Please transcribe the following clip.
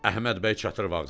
Əhməd bəy çatır vazala.